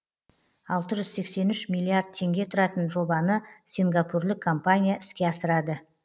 алты жүз сексен үш миллиард теңге тұратын жобаны сингапурлік компания іске асырады